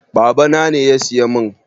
Babana ne ya siya mun